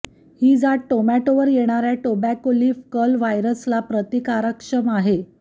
ही जात टोमॅटो वर येणार्या टोबॅको लिफ कर्ल व्हायरस ला प्रतिकारक्षम आहे